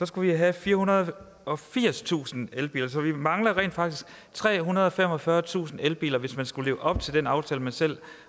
skulle vi have firehundrede og firstusind elbiler så vi mangler rent faktisk trehundrede og femogfyrretusind elbiler hvis man skulle leve op til den aftale man selv